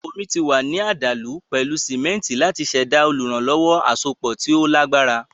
Omí ti wà ní àdàlù pẹ̀lú sìmẹ́ntì láti ṣẹ̀dá olùrànlọ́wọ́ àsopọ̀ tí ó lágbára.